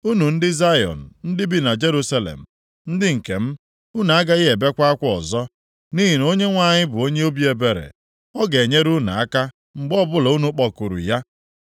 Unu ndị Zayọn ndị bi na Jerusalem, ndị nke m, unu agaghị ebekwa akwa ọzọ, nʼihi na Onyenwe anyị bụ onye obi ebere. Ọ ga-enyere unu aka mgbe ọbụla unu kpọkuru ya.